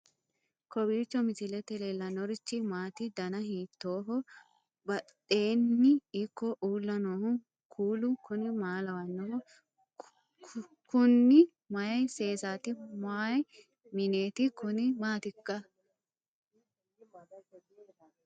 kowiicho misilete leellanorichi maati ? dana hiittooho ?abadhhenni ikko uulla noohu kuulu kuni maa lawannoho? kuni mayi seesaati mayi mineeti kuni maatikka